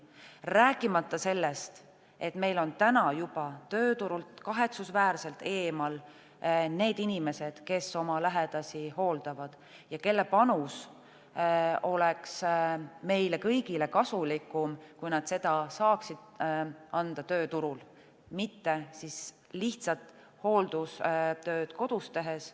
Rääkimata sellest, et meil on täna juba tööturult kahetsusväärselt eemal need inimesed, kes oma lähedasi hooldavad ja kelle panus oleks meile kõigile kasulikum, kui nad saaksid selle anda tööturul, mitte siis lihtsalt kodus hooldustööd tehes.